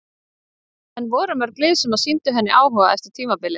En voru mörg lið sem sýndu henni áhuga eftir tímabilið?